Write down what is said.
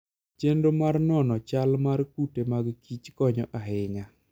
Chenro mar nono chal mar kute mag kich konyo ahinya.